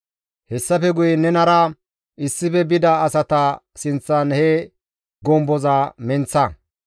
«Hessafe guye nenara issife bida asata sinththan he gomboza menththa.